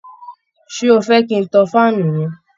Ṣé ó fẹ́ kin tan faanu yẹn?